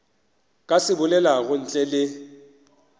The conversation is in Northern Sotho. ka se bolelago ntle le